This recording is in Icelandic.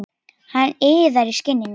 Hann iðar í skinninu.